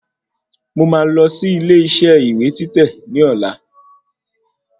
Mò máa lọ sí ilé isẹ́ ìwé títẹ̀ ní ọ̀la